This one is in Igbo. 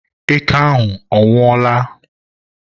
eke ahụ ọ nwụọla?